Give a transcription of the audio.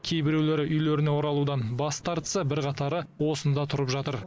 кейбіреулері үйлеріне оралудан бас тартса бірқатары осында тұрып жатыр